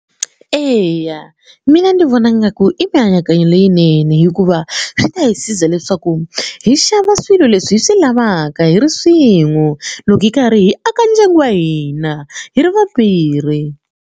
Eya mina ndzi vona ngaku i mianakanyo leyinene hikuva swi ta hi siza leswaku hi xava swilo leswi hi swi lavaka hi ri swin'we loko hi karhi hi aka ndyangu wa hina hi ri vambirhi.